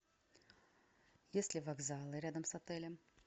есть ли вокзалы рядом с отелем